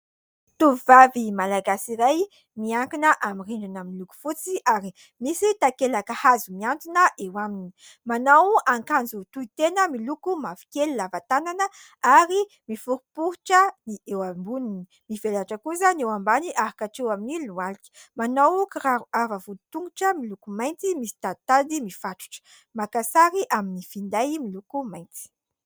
Tovovavy malagasy iray miankina amin'ny rindrina miloko fotsy ary misy takelaka hazo mihantona eo aminy ; manao akanjo tohitena miloko mavokely lava tànana ary miforiporitra ny eo amboniny ; mivelatra kosa ny eo ambany ary hatreo amin'ny lohalika ; manao kiraro avo vodin-tongotra miloko mainty misy taditady mifatotra ; maka sary amin'ny finday miloko mainty.